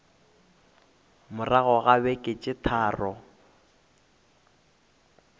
morago ga beke tše tharo